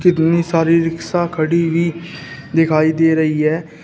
इतनी सारी रिक्शा खड़ी हुई दिखाई दे रही है।